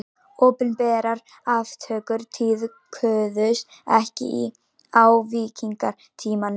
Opinberar aftökur tíðkuðust ekki á víkingatímanum.